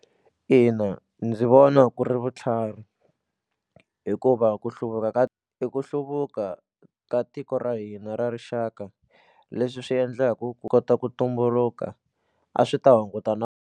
Ina, ndzi vona ku ri vutlhari hikuva ku hluvuka ka i ku hluvuka ka tiko ra hina ra rixaka leswi swi endlaku ku kota ku tumbuluka a swi ta hunguta na.